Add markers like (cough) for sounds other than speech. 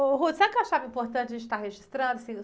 Ô, (unintelligible) sabe o que eu achava importante a gente estar registrando? Assim...